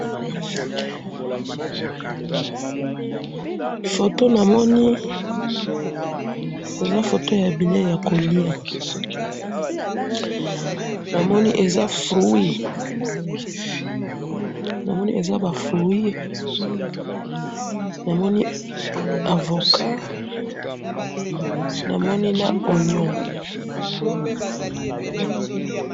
photo na moni eza photo ya bileyi yako lia na moni eza fruit na moni eza ba fruit na moni avocat na ba onions